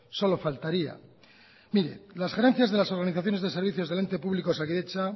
solo faltaría mire las gerencias de las organizaciones de servicios del ente público osakidetza